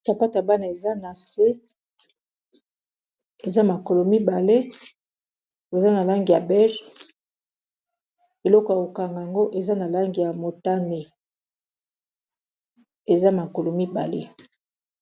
Sapatu ya bana eza na se eza makolo mibale eza na langi ya bege eloko ya kokanga yango eza na langi ya motane eza makolo mibale.